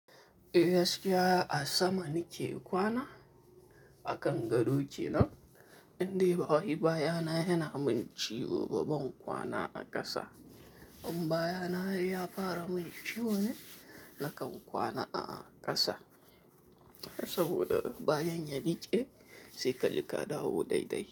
Eh, gaskiya a sama nike kwana akan gado kenan. Indai bawani bayana yana min ciwo, ba ban kwana a ƙasa. Amma bayana ya fara min ciwo ne nakan kwana a ƙasa saboda bayan ya rike, saikaji ka dawo daidai.